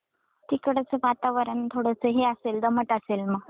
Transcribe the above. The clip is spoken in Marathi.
तिकडच वातावरण थोडस हे असेल दमट असेल मग.